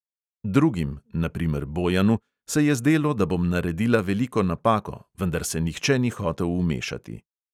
Drugim, na primer bojanu, se je zdelo, da bom naredila veliko napako, vendar se nihče ni hotel vmešati.